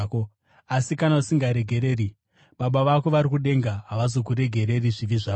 Asi kana usingaregereri, Baba vako vari kudenga havazoregereri zvivi zvako.”